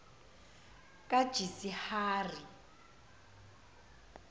kajisihari